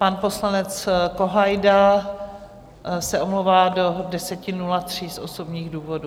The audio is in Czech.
Pan poslanec Kohajda se omlouvá do 10.03 z osobních důvodů.